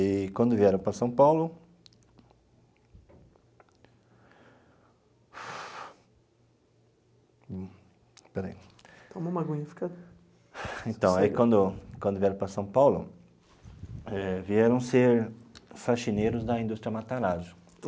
E quando vieram para São Paulo... Então, quando vieram para São Paulo, eh vieram ser faxineiros da indústria Matarazzo.